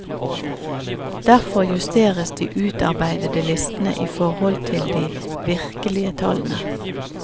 Derfor justeres de utarbeidede listene i forhold til de virkelige tallene.